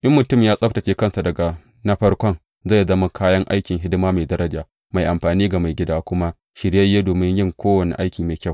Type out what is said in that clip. In mutum ya tsabtacce kansa daga na farkon zai zama kayan aikin hidima mai daraja, mai amfani ga Maigida, kuma shiryayye domin yin kowane aiki mai kyau.